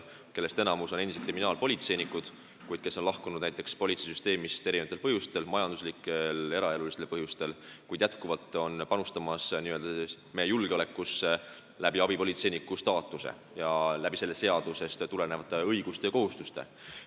Enamik neist on endised kriminaalpolitseinikud, kes on lahkunud politseisüsteemist erinevatel põhjustel, kas majanduslikel või eraelulistel põhjustel, kuid nad jätkuvalt panustavad meie julgeolekusse, neil on abipolitseiniku staatus ning seadusest tulenevad õigused ja kohustused.